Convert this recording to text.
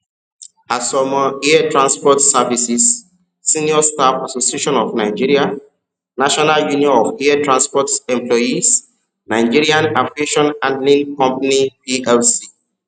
àsomọ air transport services senior staff association of nigerianational union of air transport employeesnigerian aviation handling company plc